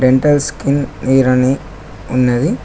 Dental skin hair అని ఉన్నది.